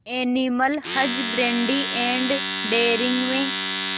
animal husbandry and dairying में